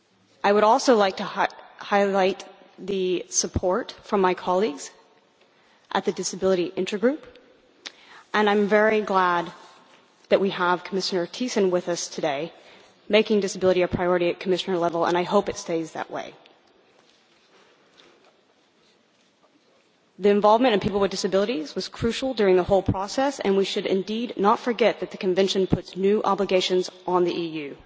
I would also like to highlight the support from my colleagues at the Disability Intergroup and I am very glad that we have Commissioner Thyssen with us today making disability a priority at Commissioner level, and I hope it stays that way. The involvement of people with disabilities was crucial during the whole process, and we should not forget that the Convention puts new obligations on the EU.